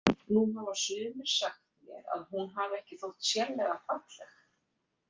Nú hafa sumir sagt mér að hún hafi ekki þótt sérlega falleg.